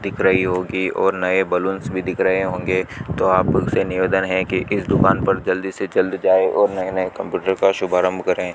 दिख रही होगी और नए बलूंस भी दिख रहे होंगे तो आप लोग से निवेदन है कि इस दुकान पर जल्दी से जल्द जाए और नए नए कंप्यूटर का शुभारंभ करें।